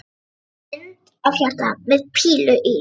Og mynd af hjarta með pílu í.